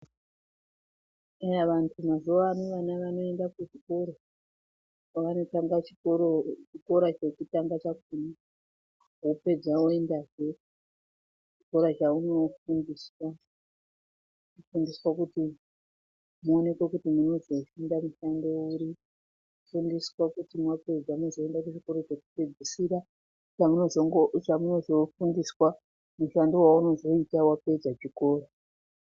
Eya vantu mazuwa ano vana vanoenda kuchikora kwavanotanga chikora chekutanga chakhona. Vapedza voendazve kuchikora chavanofundiswa kuti muonekwe kuti munozofunda mushando uri . Kufundiswa kuti mapedza muzoenda kuchikora chekupedzisira chamunozofundiswa mushando waunozoita wapedza chikora.